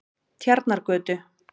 Tjarnargötu